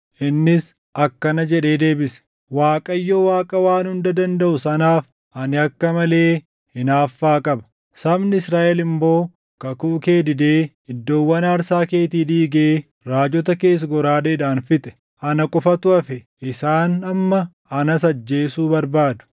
Innis akkana jedhee deebise; “ Waaqayyo Waaqa Waan Hunda Dandaʼu sanaaf ani akka malee hinaaffaa qaba. Sabni Israaʼel immoo kakuu kee didee, iddoowwan aarsaa keetii diigee raajota kees goraadeedhaan fixe. Ana qofatu hafe; isaan amma anas ajjeesuu barbaadu.”